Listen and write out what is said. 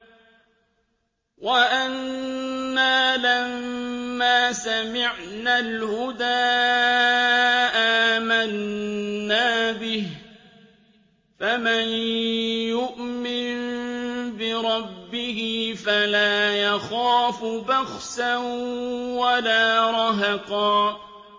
وَأَنَّا لَمَّا سَمِعْنَا الْهُدَىٰ آمَنَّا بِهِ ۖ فَمَن يُؤْمِن بِرَبِّهِ فَلَا يَخَافُ بَخْسًا وَلَا رَهَقًا